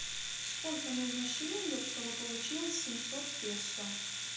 сколько нужно шиллингов чтобы получилось семьсот песо